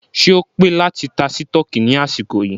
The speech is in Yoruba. Ṣé o pé láti ta sítọ̀kì ní àsìkò yìí?